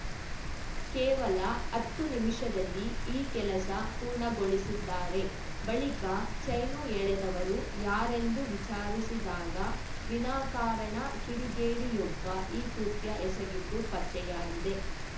ಕೇವಲ ಹತ್ತು ನಿಮಿಷದಲ್ಲಿ ಈ ಕೆಲಸ ಪೂರ್ಣಗೊಳಿಸಿದ್ದಾರೆ ಬಳಿಕ ಚೈನು ಎಳೆದವರು ಯಾರೆಂದು ವಿಚಾರಿಸಿದಾಗ ವಿನಾಕಾರಣ ಕಿಡಿಗೇಡಿಯೊಬ್ಬ ಈ ಕೃತ್ಯ ಎಸಗಿದ್ದು ಪತ್ತೆಯಾಗಿದೆ